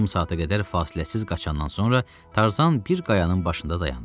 Yarım saata qədər fasiləsiz qaçandan sonra Tarzan bir qayanın başından dayandı.